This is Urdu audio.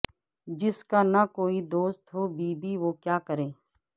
جس کا نہ کوئ دوست ہو بی بی وہ کیا کرے